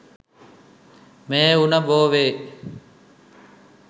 මේ උණ බෝවේ.